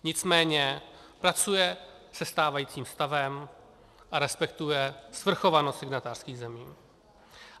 Nicméně pracuje se stávajícím stavem a respektuje svrchovanost signatářských zemí.